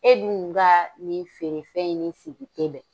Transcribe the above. E dun gaa nin feerefɛn in ni sigi te bɛn.